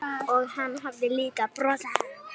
Og hann hafði líka brosað.